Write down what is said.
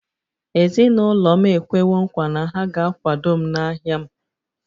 Ezinụlọ m ekwewo nkwa na ha ga-akwado m n’ahịa m